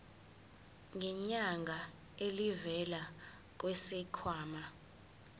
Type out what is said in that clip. ngenyanga elivela kwisikhwama